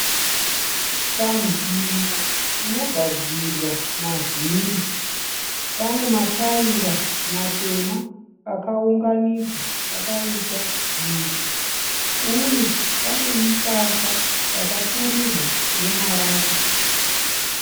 Panzvimbo inogadzirwa mavhiri, pane matayira matema akaunganidzwa akaita dutu . Uye pane musasa wapfirirwa nemarata.